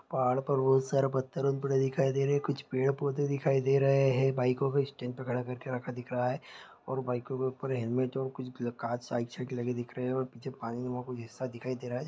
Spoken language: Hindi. पहाड़ पर बहुत सारे पड़े दिखाई दे रहे है कुछ पेड़-पौधे दिखाई दे रहे है बाइको को स्टैंड पर खड़ा कर के रखा दिख रहा है और बाइको के ऊपर हेलमेट दिख रहे है और पीछे पानीनुमा कोई हिस्सा दिखाई दे रहा है।